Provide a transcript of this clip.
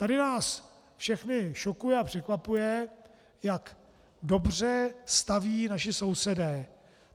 Tady nás všechny šokuje a překvapuje, jak dobře staví naši sousedé.